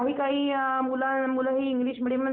यात्रेबद्दल माहिती दिल्याबद्दल धन्यवाद!